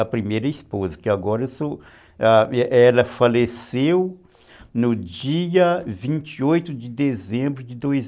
a primeira esposa, que agora eu sou, ah, ela faleceu no dia vinte e oito de dezembro de dois mil